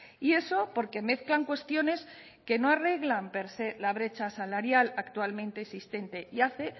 y eso porque mezclan cuestiones que no arreglan per se la brecha salarial actualmente existente y hace